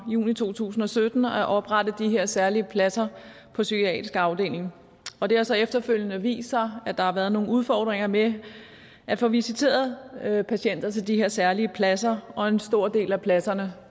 juni to tusind og sytten at oprette de her særlige pladser på psykiatrisk afdeling og det har så efterfølgende vist sig at der har været nogle udfordringer med at få visiteret patienter til de her særlige pladser og en stor del af pladserne